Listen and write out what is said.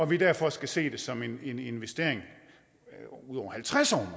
vi derfor skal se det som en investering over halvtreds år